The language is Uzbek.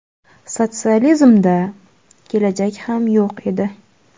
Sotsializmda… kelajak ham yo‘q edi.